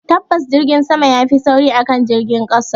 Tabbas Jirgin sama yafi sauri akan jirgin ƙasa